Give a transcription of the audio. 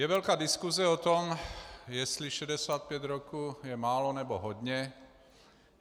Je velká diskuse o tom, jestli 65 roků je málo, nebo hodně.